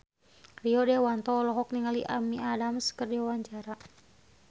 Rio Dewanto olohok ningali Amy Adams keur diwawancara